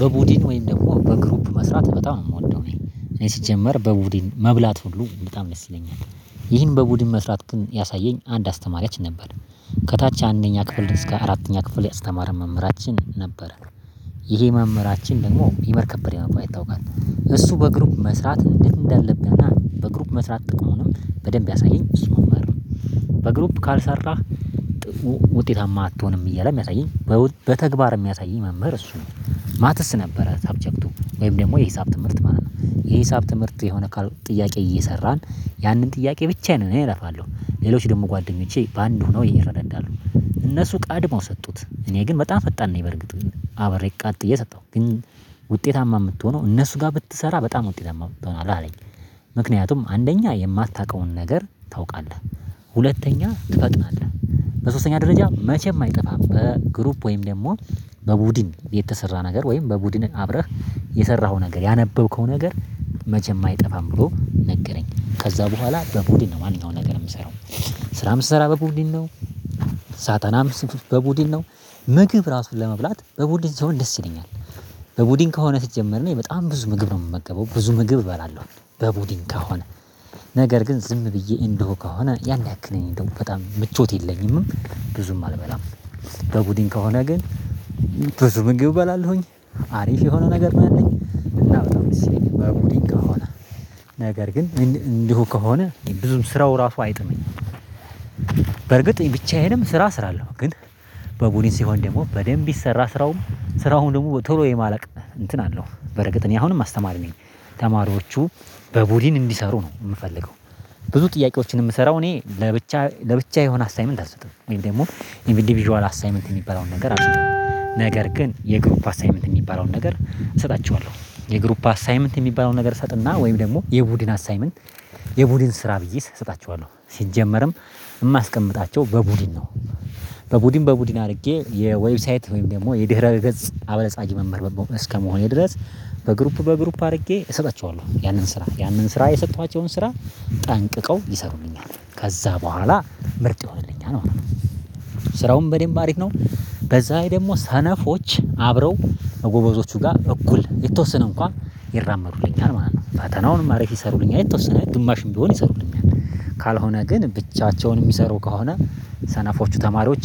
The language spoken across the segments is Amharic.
በቡድን ወይም ደግሞ በግሩፕ መስራት በጣም ነው የምወደው። እኔ ሲጀመር በቡድን መብላት ሁሉ በጣም ደስ ይለኛል። ይህን በቡድን መስራት ግን ያሳየኝ አንድ አስተማሪያችን ነበር። ከታች አንደኛ ክፍል እስከ አራተኛ ክፍል ያስተማረን መምህራችን ነበረ። ይሄ መምህራችን ደግሞ ይመር ከበደ በመባል ይታወቃል። እሱ በግሩፕ መስራት እንዴት እንዳለብህና በግሩፕ መስራት ጥቅሙንም በደንብ ያሳየኝ እሱ መምህር ነው። በግሩፕ ካልሰራህ ውጤታማ አትሆንም እያለ የሚያሳየኝ። በተግባር የሚያሳየኝ መምህር እሱ ነው። ማትስ ነበረ ሰብጀክቱ ወይም ደግሞ የሂሳብ ትምህርት ማለት ነው። የሂሳብ ትምህርት የሆነ ጥያቄ እየሰራን ያንን ጥያቄ ብቻ ነን እኔ እለፋለሁ ሌሎች ደግሞ ጓደኞቼ በአንድ ሆነው ይረዳሉ። እነሱ ቀድመው ሰጡት እኔ ግን በጣም ፈጣን ነኝ። በርግጥ አብሬ ቀጥ ብዬ ሰጠሁ ግን። ውጤታማ የምትሆነው እነሱ ጋር ብትሰራ በጣም ውጤታማ ትሆናለህ አለኝ። ምክንያቱም አንደኛ የማታውቀውን ነገር ታውቃለህ። ሁለተኛ ትፈጥናለህ። በሶስተኛ ደረጃ መቼም አይጠፋም በግሩፕ ወይም ደግሞ በቡድን የተሰራ ነገር ወይም በቡድንህ አብረህ የሰራኸው ነገር ያነበብከው ነገር መቼም አይጠፋም። ብሎ ነገረኝ። ከዛ በኋላ በቡድን ነው ማንኛውም ነገር የምሰራው። ስራ የምትሰራ በቡድን ነው። ሳጠናም በቡድን ነው። ምግብ ራሱን ለመብላት በቡድን ሲሆን ደስ ይለኛል። በቡድን ከሆነ ስትጀምር እኔ በጣም ብዙ ምግብ ነው የምመገበው ብዙ ምግብ እበላለሁ። በቡድን ከሆነ ነገር ግን ዝም ብዬ እንዲሁ ከሆነ ያን ያክል እኔ እንደውም ምቾት የለኝምም። ብዙም አልበላም። በቡድን ከሆነ ግን ብዙ ምግብ እበላለሁኝ። አሪፍ የሆነ ነገር ነው ያለኝ። እና በጣም ደስ ይለኛል በቡድን ከሆነ። ነገር ግን እንዲሁ ከሆነ ብዙም ስራው ራሱ አይጥመኝም። በርግጥ ብቻዬንም ስራ እሰራለው ግን። በቡድን ሲሆን ደግሞ በደንብ ይሰራል ስራውም ስራውን ደግሞ ቶሎ የማለቅ እንትን አለው። በእርግጥ እኔ አሁንም አስተማሪ ነኝ ተማሪዎቹ በቡድን እንዲሰሩ ነው የምፈልገው። ብዙ ጥያቄዎችን የምሰራው እኔ ለብቻ ለብቻ የሆነ አሳይመንት አልሰጥም ወይም ደግሞ ኢንዲቪዥዋል አሳይመንት የሚባለውን ነገር አልሰጥም። ነገር ግን የግሩፕ አሳይመንት የሚባለውን ነገር እሰጣቸዋለሁ። የግሩፕ አሳይመንት የሚባለውን ነገር እሰጥና ወይም ደግሞ የቡድን አሳይመንት የቡድን ስራ ብዬ እሰጣቸዋለሁ። የማስቀምጣቸው በቡድን ነው። በቡድን በቡድን አድርጌ የዌብሳይት ወይም ደግሞ የድህረ ቤተሰብ አበልጻጊ መምህር እስከ መሆኔ ድረስ በግሩፕ በግሩፕ አድርጌ እሰጣቸዋለሁ ያንን ስራ ያንን ስራ የሰጠኋቸውን ስራ ጠንቅቀው ይሰሩኛል ከዛ በኋላ ምርጥ ይሆንልኛል። ስራውን በደንብ አሪፍ ነው። በዛ ላይም ደግሞ ሰነፎች አብረው ከጎበዞቹ ጋር እኩል የተወሰነ እንኳን ይራመዱልኛል ማለት ነው ፋተናውንም አሪፍ ይሰሩልኛል የተወሰነ ግማሽም ቢሆን ይሰሩልኛል። ካልሆነ ግን ብቻቸውን የሚሰሩ ከሆነ ሰናፎቹ ተማሪዎች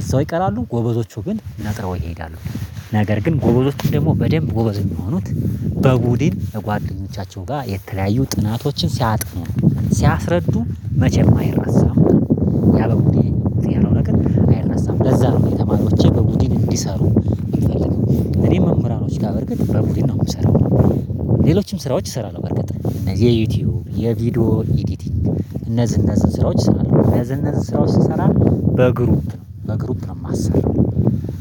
እዛው ይቀራሉ ጎበዞቹ ግን ነጥረው ይሄዳሉ። ነገር ግን ጎበዞች ደግሞ በደንብ ጎበዝ የሚሆኑት በቡድን ለጓደኞቻቸው ጋር የተለያዩ ጥናቶችን ሲያጥኑ ሲያስረዱ መቼም አይረሳም። ያ በቡድን እንትን ያለው ነገር አይረሳም። ለዛ ነው እኔ ተማሪዎቼ በቡድን እንዲሰሩ እንፈልግ እኔም መምህራኖች ጋር በእርግጥ መምህራን ቡድን ነው የምሰራው። ሌሎችም ስራዎች እሰራለሁ በርግጥ እነዚህ የዩቲዩብ የቪዲዮ ኤዲቲንግ እነዚህ እነዚህ ስራዎች ሰራለሁ እነዚህ እነዚህ ስራዎች ስሰራ በግሩፕ በግሩፕ ነው የማሰራው።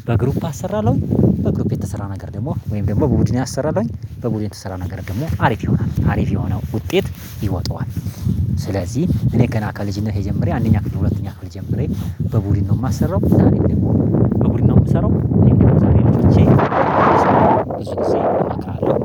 በግሩፕ አሰራለሁኝ። በግሩፕ የተሰራ ነገር ደግሞ ወይም ደግሞ በቡድኔ አሰራለሁኝ በቡድኔ የተሰራ ነገር ደግሞ አሪፍ ይሆናል አሪፍ የሆነው ውጤት ይወጣዋል። ስለዚህ እኔ ገና ከልጅነቴ ጀምሬ አንደኛ ክፍል ሁለተኛ ክፍል ጀምሬ በቡድን ነው የማሰራው። በቡድን ነው የማሰራው። በቡድን ነው የምሰራው ቴንኪው ዛሬ ቻች ትሰማዋለህ ትሰማዋለህ አካል